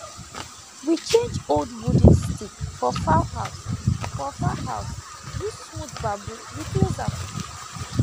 we change old wooden stick for fowl house for fowl house use smooth bamboo replace am